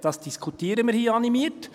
Das diskutieren wir hier animiert.